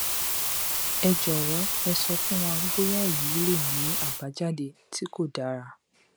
ẹ jọwọ ẹ sọ fún wa bóyáèyí lè ní àbájáde tí kò dára